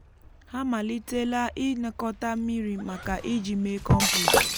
ha amalitela ịnakọta mmiri maka iji mee kọmpost.